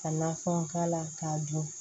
Ka nafɛnw k'a la k'a dun